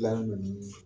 Dilan ninnu